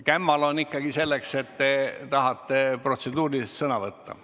Kämmal on ikkagi selleks, et te saaksite protseduurilise küsimuse esitada.